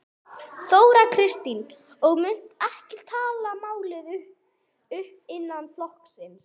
Þóra Kristín: Og munt ekki taka málið upp innan flokksins?